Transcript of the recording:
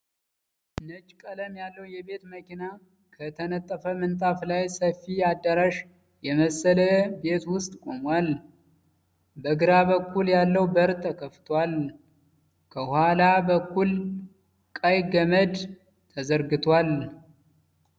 ነጭ ቀለም ያለዉ የቤት መኪና ከተነጠፈ ምንጣፍ ላይ ሰፊ አዳራሽ የመሰለ ቤት ዉስጥ ቆሟል። በግራ በኩል ያለዉ በር ተከፍቷል። ከኋላ በኩል ቀይ ገመድ ተዘርግቷል።